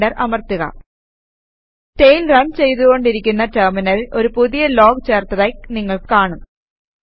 enter അമർത്തുക tail run ചെയ്തു കൊണ്ടിരിക്കുന്ന ടെർമിനലിൽ ഒരു പുതിയ ലോഗ് ചേർത്തതായി നിങ്ങൾ കാണും